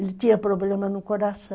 Ele tinha problema no coração.